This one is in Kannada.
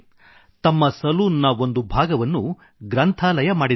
ತಮ್ಮ ಸಲೂನ್ ನ ಒಂದು ಭಾಗವನ್ನು ಗ್ರಂಥಾಲಯ ಮಾಡಿದ್ದಾರೆ